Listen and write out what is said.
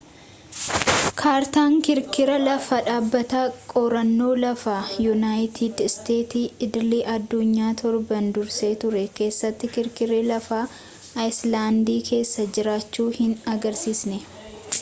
kaartaan kirkira lafaa dhaabbata qorannoo lafaa yuunaayitid isteetsi idil-adduunyaa torban dursee ture keessatti kirkirri lafaa aayiislaandikeessa jiraachuu hin agarsiisne